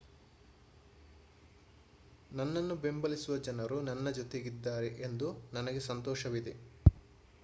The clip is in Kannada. ನನ್ನನ್ನು ಬೆಂಬಲಿಸುವ ಜನರು ನನ್ನ ಜೊತೆಗಿದ್ದಾರೆ ಎಂದು ನನಗೆ ಸಂತೋಷವಿದೆ